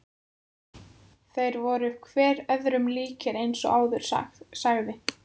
Þeir voru hver öðrum líkir eins og áður sagði.